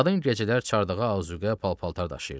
Qadın gecələr çardağa azuqə, pal-paltar daşıyırdı.